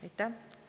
Aitäh!